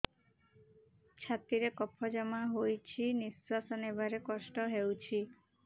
ଛାତିରେ କଫ ଜମା ହୋଇଛି ନିଶ୍ୱାସ ନେବାରେ କଷ୍ଟ ହେଉଛି